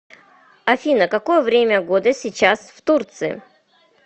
афина какое время года сейчас в турции